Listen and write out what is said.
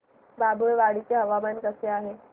बाभुळवाडी चे हवामान कसे आहे